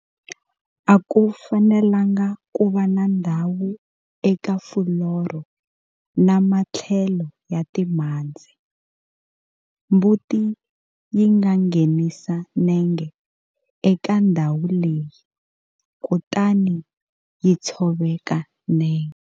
A ku fanelengi ku va na ndhawu eku fuloro na matlhelo ya timhandzhe. Mbuti yi nga nghenisa nenge eka ndhawu leyi kutani yi tshoveka nenge.